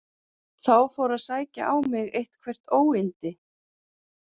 Þá fór að sækja á mig eitthvert óyndi.